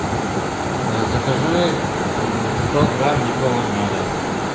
закажи сто грамм липового меда